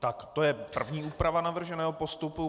Tak to je první úprava navrženého postupu.